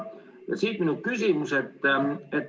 Ja siit minu küsimus.